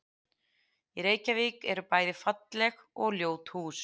Í Reykjavík eru bæði falleg og ljót hús.